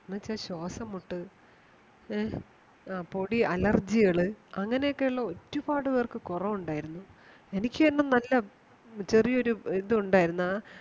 എന്നുവച്ചാ ശ്വാസംമുട്ട് ആഹ് പൊടി allergy കൾ അങ്ങനെയൊക്കെയുള്ള ഒരുപാട് പേർക്ക് കുറവുണ്ടായിരുന്നു എനിക്ക് തന്നെ നല്ല ചെറിയ ഒരു ഇതുണ്ടായിരുന്നാ